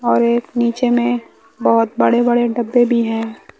और एक नीचे में बहोत बड़े बड़े डब्बे भी है।